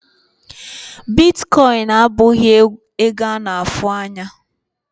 Bitkọịn abụghị ego a na-afụ anya.